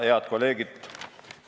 Head kolleegid!